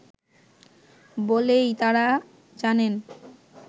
বলেই তারা জানেন